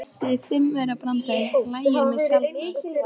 Þessi fimmaurabrandari hlægir mig sjaldnast.